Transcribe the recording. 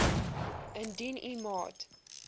indien u maat